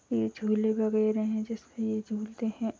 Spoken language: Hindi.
ये झूले वगेरे हैं जिसपे झूलते हैं।